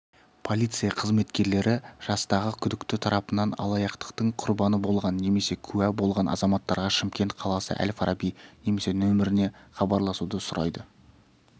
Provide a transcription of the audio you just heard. полиция қызметкерлері жастағы күдікті тарапынан алаяқтықтың құрбаны болған немесе куә болған азаматтарға шымкент қаласы әл-фараби немесе нөміріне хабарласуды сұрайды